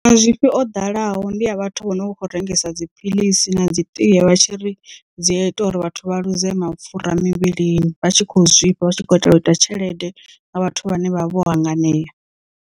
Mazwifhi o ḓalaho ndi a vhathu vho no kho rengisa dziphiḽisi na dzi tie vha tshi ri dzi a ita uri vhathu vha ḽuze mapfura mivhilini vha tshi khou zwifha vha tshi khou itela u ita tshelede nga vhathu vhane vha vha vho hanganea.